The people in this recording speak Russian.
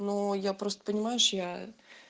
ну я просто понимаешь я